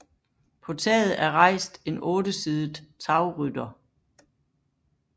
På taget er rejst en ottesidet tagrytter